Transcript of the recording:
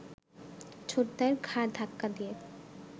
ছোটদার ঘাড় ধাক্কা দিয়ে